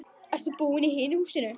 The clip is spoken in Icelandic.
Ertu búinn í hinu húsinu?